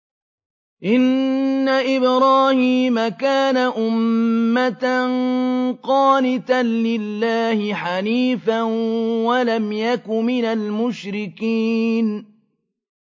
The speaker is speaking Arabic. إِنَّ إِبْرَاهِيمَ كَانَ أُمَّةً قَانِتًا لِّلَّهِ حَنِيفًا وَلَمْ يَكُ مِنَ الْمُشْرِكِينَ